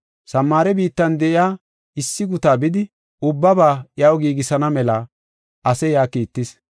Samaare biittan de7iya issi gutaa bidi, ubbaba iyaw giigisana mela ase yaa kiittis.